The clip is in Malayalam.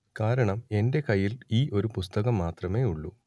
കാരണം എന്റെ കയ്യിൽ ഈ ഒരു പുസ്തകം മാത്രമേ ഉള്ളൂ